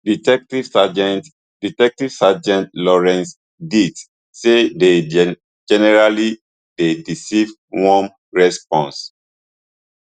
detective sergent detective sergent laurence dight say dey generally dey receive warm response